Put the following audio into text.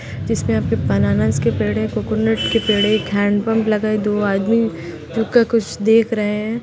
जिस पे आपके बनानास के पेङ हैं कोकोनट के पेड़ हैं एक हैंडपंप लगा है दो आदमी रुक कर कुछ देख रहें हैं।